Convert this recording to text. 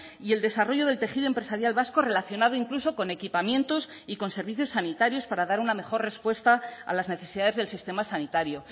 y el desarrollo del tejido empresarial vasco relacionado incluso con equipamientos y con servicios sanitarios para dar una mejor respuesta a las necesidades del sistema sanitario